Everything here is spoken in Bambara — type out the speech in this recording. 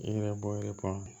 E yɛrɛ bɔ